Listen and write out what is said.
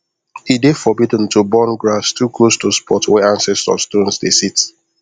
e dey forbidden to burn grass too close to spot wey ancestor stones dey sit